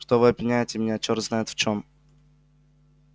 что вы обвиняете меня чёрт знает в чём